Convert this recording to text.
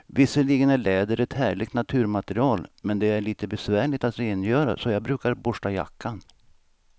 Visserligen är läder ett härligt naturmaterial, men det är lite besvärligt att rengöra, så jag brukar borsta jackan.